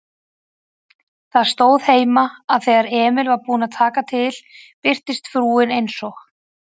Það stóð heima, að þegar Emil var búinn að taka til birtist frúin eins og